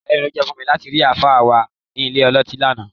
Ìyàlẹ́nu ló jẹ́ fún mi láti rí àlùfáà wa nílé ọlọ́tí lánàá